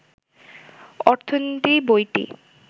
অর্থনীতি বইটি